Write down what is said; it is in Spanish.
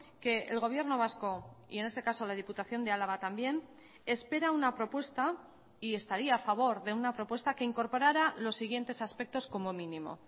que el gobierno vasco y en este caso la diputación de álava también espera una propuesta y estaría a favor de una propuesta que incorporara los siguientes aspectos como mínimo